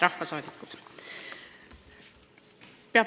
Head rahvasaadikud!